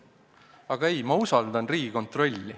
Aga ei, ma usaldan Riigikontrolli.